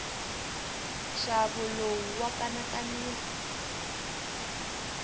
nxavo lowu wa kanakanisa